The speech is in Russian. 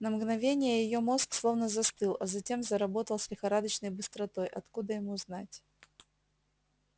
на мгновение её мозг словно застыл а затем заработал с лихорадочной быстротой откуда ему знать